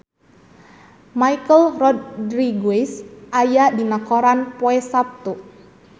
Michelle Rodriguez aya dina koran poe Saptu